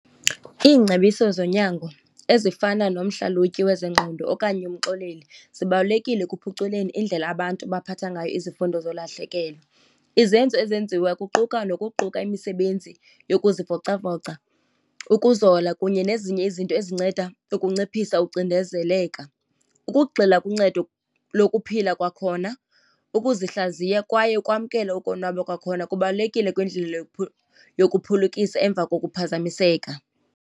Iingcebiso zonyango ezifana nomhlalutyi wezengqondo okanye umxoleli zibalulekile ekuphuculeni indlela abantu abaphatha ngayo izifundo zolahlekelo. Izenzo ezenziwa kuquka nokuquka imisebenzi yokuzivocavoca, ukuzola kunye nezinye izinto ezinceda ukunciphisa ukucindezeleka. Ukugxila kuncedo lokuphila kwakhona, ukuzihlaziya kwaye ukwamkela ukonwaba kwakhona kubalulekile kwindlela yokuphulukisa emva kokuphazamiseka.